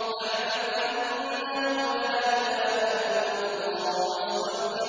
فَاعْلَمْ أَنَّهُ لَا إِلَٰهَ إِلَّا اللَّهُ